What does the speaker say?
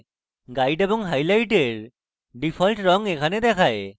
guide এবং highlight এর default রঙ এখানে দেখায়